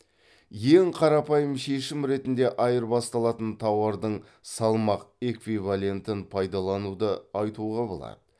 ең қарапайым шешім ретінде айырбасталатын тауардың салмақ эквивалентін пайдалануды айтуға болады